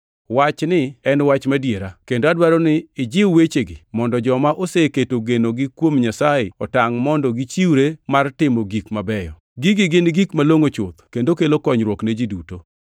Wachni en wach madiera. Kendo adwaro ni ijiw wechegi mondo joma oseketo genogi kuom Nyasaye otangʼ mondo gichiwre mar timo gik mabeyo. Gigi gin gik malongʼo chuth, kendo kelo konyruok ne ji duto.